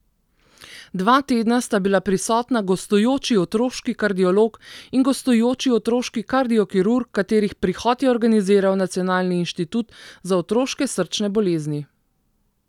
Dva tedna sta bila prisotna gostujoči otroški kardiolog in gostujoči otroški kardiokirurg, katerih prihod je organiziral Nacionalni inštitut za otroške srčne bolezni.